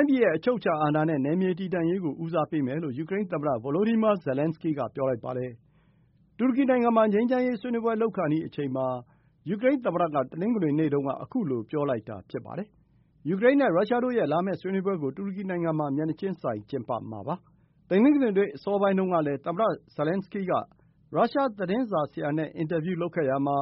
င်းပြည်ရဲ့ အချုပ်အခြာအာဏာနဲ့ နယ်မြေတည်တံ့ရေးကို ဦးစားပေးမယ်လို့ ယူကရိန်းသမ္မတ Volodymyr Zelenskyy က ပြောလိုက်ပါတယ်။ တူရကီနိုင်ငံမှာ ငြိမ်းချမ်းရေး ဆွေးနွေးပွဲလုပ်ခါနီး ယူကရိန်းသမ္မတက တနင်္ဂနွေနေ့တုန်းက ခုလို ပြောလိုက်တာ ဖြစ်ပါတယ်။ ယူကရိန်းနဲ့ ရုရှားတို့ရဲ့ လာမယ့် ဆွေးနွေးပွဲကို တူရကီနိုငံမှာ မျက်နှာချင်းဆိုင် ကျင်းပမှာ ဖြစ်ပါတယ်။ တနင်္ဂနွေနေ့ အစောပိုင်းတုန်းကလည်း သမ္မတဇယ်လင်စကီက ရုရှားသတင်းစာဆရာ နဲ့ အင်တာဗျူးလုပ်ခဲ့ရာမှာ